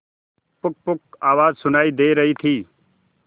पुकपुक आवाज सुनाई दे रही थी